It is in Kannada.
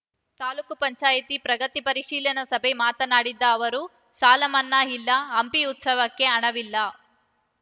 ತಾಲೂಕು ಪಂಚಾಯತಿ ಪ್ರಗತಿ ಪರಿಶೀಲನಾ ಸಭೆ ಮಾತನಾಡಿದ ಅವರು ಸಾಲಮನ್ನಾ ಇಲ್ಲ ಹಂಪಿ ಉತ್ಸವಕ್ಕೆ ಹಣವಿಲ್ಲ